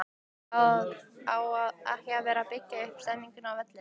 Á ekki að vera að byggja upp stemningu á vellinum??